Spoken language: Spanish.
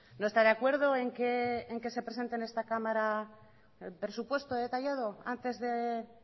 no está de acuerdo en que se presente en esta cámara el presupuesto detallado antes de